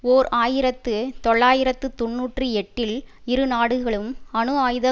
ஓர் ஆயிரத்து தொள்ளாயிரத்து தொன்னூற்றி எட்டில் இரு நாடுகளும் அணு ஆயுத